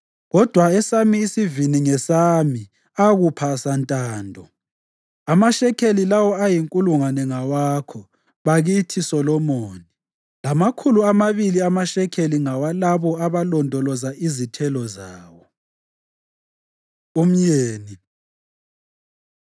Kodwa esami isivini ngesami ukupha santando; amashekeli lawo ayinkulungwane ngawakho, bakithi Solomoni, lamakhulu amabili amashekeli ngawalabo abalondoloza izithelo zawo. Umyeni